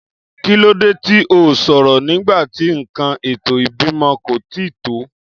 Kílódé tí o sòrò nígbàtí nkan ètò ìbímọ kò tíì pé